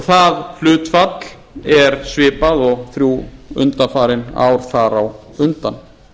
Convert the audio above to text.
það hlutfall er svipað og þrjú undanfarin ár þar á undan